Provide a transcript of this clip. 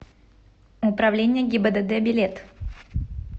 управление гибдд билет